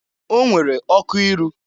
O nwere ọkụ iru.